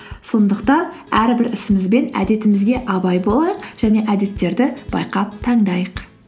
сондықтан әрбір ісіміз бен әдетімізге абай болайық және әдеттерді байқап таңдайық